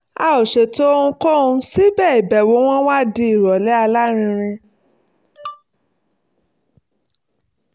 a ò ṣètò ohunkóhun síbẹ̀ ìbẹ̀wò wọn wá di ìrọ̀lẹ́ alárinrin